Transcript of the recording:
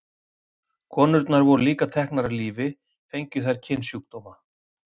konurnar voru líka teknar af lífi fengju þær kynsjúkdóma